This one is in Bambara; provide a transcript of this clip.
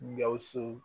Gawusu